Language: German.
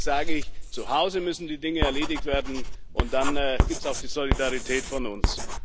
Und deswegen sage ich Zuhause müssen die Dinge erledigt werden, und dann gibt es auch die Solidarität von uns.